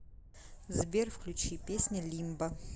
сбер включи песня лимбо